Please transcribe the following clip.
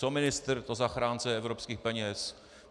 Co ministr, to zachránce evropských peněz.